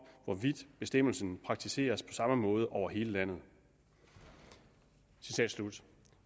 hvorvidt bestemmelsen praktiseres på samme måde over hele landet citat slut